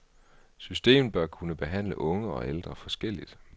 Systemet bør kunne behandle unge og ældre forskelligt.